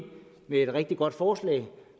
med et rigtig godt forslag